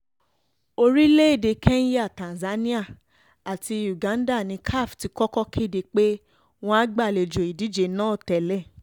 orílẹ̀‐èdè kenya tanzania àti uganda ni caf ti kọ́kọ́ kéde pé wọ́n á gbàlejò ìdíje náà tẹ́lẹ̀